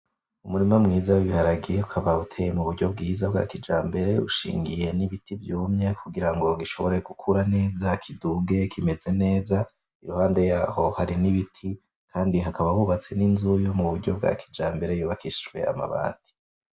Umurima mwiza w'ibiharage ukaba uteye mu buryo bwiza bwa kijambere ushingiriye nibiti vyumye kugirango gishobore gukura neza kiduge kimeze neza iruhande yaho hari nibiti kandi hakaba hubatse ninzu yubatse muburyo bwa kijambere yubakishijwe amabati .